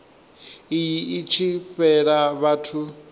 iyi i tshi fhela vhathu